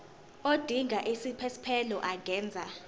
odinga isiphesphelo angenza